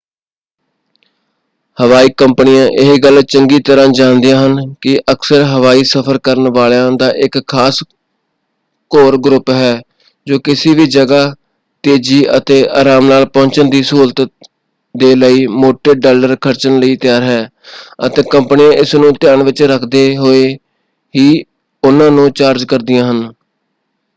ਹਵਾਈ ਕੰਪਨੀਆਂ ਇਹ ਗੱਲ ਚੰਗੀ ਤਰ੍ਹਾਂ ਜਾਣਦੀਆਂ ਹਨ ਕਿ ਅਕਸਰ ਹਵਾਈ ਸਫ਼ਰ ਕਰਨ ਵਾਲਿਆਂਂ ਦਾ ਇੱਕ ਖਾਸ ਕੋਰ ਗਰੁੱਪ ਹੈ ਜੋ ਕਿਸੇ ਵੀ ਜਗ੍ਹਾ ਤੇਜ਼ੀ ਅਤੇ ਆਰਾਮ ਨਾਲ ਪਹੁੰਚਣ ਦੀ ਸਹੁਲਤ ਦੇ ਲਈ ਮੋਟੇ ਡਾਲਰ ਖਰਚਣ ਲਈ ਤਿਆਰ ਹੈ ਅਤੇ ਕੰਪਨੀਆਂ ਇਸ ਨੂੰ ਧਿਆਨ ਵਿੱਚ ਰੱਖਦੇ ਹੋਏ ਹੀ ਉਹਨਾਂ ਨੂੰ ਚਾਰਜ ਕਰਦੀਆਂ ਹਨ।